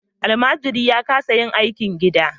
Almajiri ya kasa yin aikin gida.